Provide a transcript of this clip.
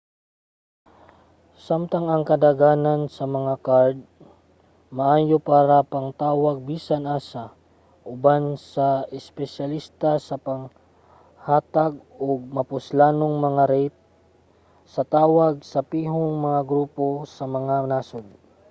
samtang ang kadaghanan sa mga kard maayo para pangtawag bisan asa ang uban kay espesyalista sa paghatag og mapuslanong mga rate sa tawag sa pihong mga grupo sa mga nasod